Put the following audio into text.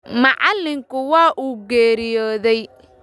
Macallinkii waa uu geeriyooday